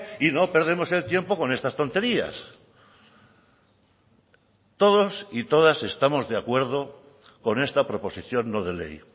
y no perdemos el tiempo con estas tonterías todos y todas estamos de acuerdo con esta proposición no de ley